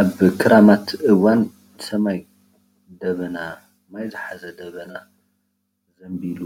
ኣብ ኽራማት እዋን ሰማይ ደመና ማይ ዝሓዘ ደመና ዝሐዘለ ዘንቢሉ።